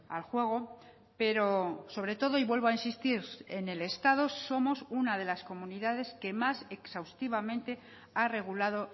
al juego pero sobre todo y vuelvo a insistir en el estado somos una de las comunidades que más exhaustivamente ha regulado